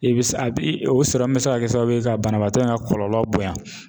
I bi sa bi o bi se ka kɛ sababu ye, ka banabaatɔ in ka kɔlɔlɔ bonya.